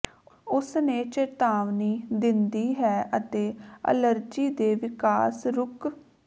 ਉਸ ਨੇ ਚੇਤਾਵਨੀ ਦਿੰਦੀ ਹੈ ਅਤੇ ਅਲਰਜੀ ਦੇ ਵਿਕਾਸ ਰੁਕ